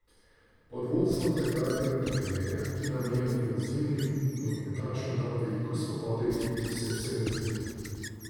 Pod vodstvom takratnega trenerja, ki je nam, ofenzivnim nogometašem dal veliko svobode v igri, sem se razvil.